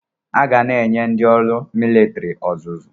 Aga na-enye ndị ọrụ militiri ọzụzụ